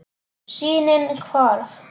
Sýnin hvarf.